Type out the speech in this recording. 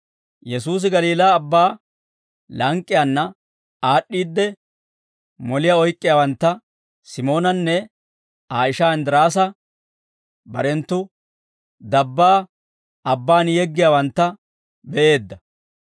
Yesuusi Galiilaa Abbaa lank'k'iyaanna aad'd'iidde, moliyaa oyk'k'iyaawantta, Simoonanne Aa ishaa Inddiraasa, barenttu dabbaa abbaan yeggiyaawantta be'eedda.